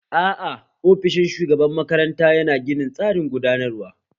Aa, ofishin shugaban makaranta yana ginin tsarin gudanarwa